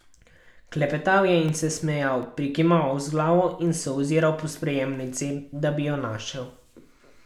Klepetal je in se smejal, prikimaval z glavo in se oziral po sprejemnici, da bi jo našel.